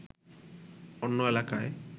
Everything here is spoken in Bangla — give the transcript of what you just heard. অন্য এলাকায়